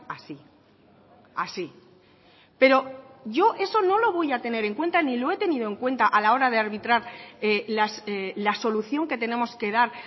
así así pero yo eso no lo voy a tener en cuenta ni lo he tenido en cuenta a la hora de arbitrar la solución que tenemos que dar